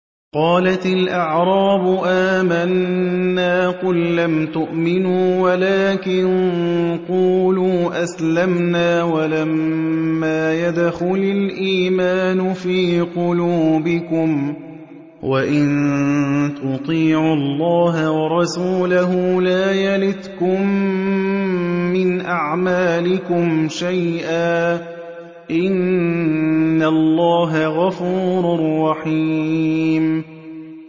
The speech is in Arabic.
۞ قَالَتِ الْأَعْرَابُ آمَنَّا ۖ قُل لَّمْ تُؤْمِنُوا وَلَٰكِن قُولُوا أَسْلَمْنَا وَلَمَّا يَدْخُلِ الْإِيمَانُ فِي قُلُوبِكُمْ ۖ وَإِن تُطِيعُوا اللَّهَ وَرَسُولَهُ لَا يَلِتْكُم مِّنْ أَعْمَالِكُمْ شَيْئًا ۚ إِنَّ اللَّهَ غَفُورٌ رَّحِيمٌ